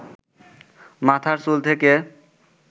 মাথার চুল থেকে